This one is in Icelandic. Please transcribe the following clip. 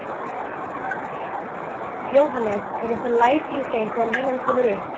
Jóhannes: Eru einhver læti í þeim þegar línan kemur upp?